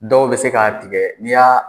Dɔw bɛ se k'a tigɛ n'i y'a